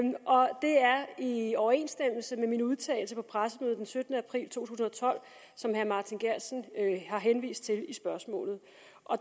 i overensstemmelse med min udtalelse på pressemødet den syttende april to tusind og tolv som herre martin geertsen har henvist til i spørgsmålet